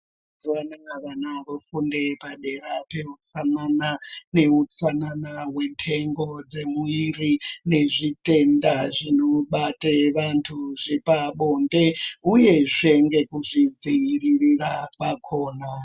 Mazuva anaya vana vofunde padera peutsanana neutsanana hwenhengo dzemuviri nezvitenda zvinobate vantu zvepabonde, uyezve ngekuzvidzirira kwakona.